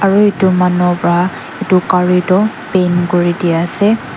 aru etu mannua pra etu gari tu pain korina ase.